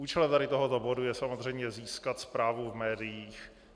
Účelem tady tohoto bodu je samozřejmě získat zprávu v médiích.